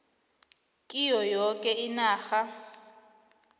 kiyo yoke inarha